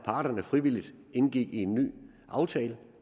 parterne frivilligt indgik en ny aftale